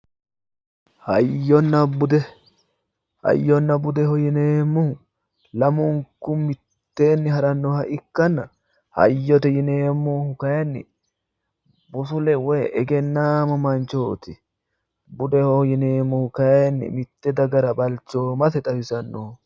hayyonna bude hayyonna bude yineemmohu lamunku mitteenni harannoha ikkanna hayyote yineemmohu kayiinni busule woyi egennaamo manchooti budeho yineemmohu kayiinni mitte dagara balchoomase xawisannoho.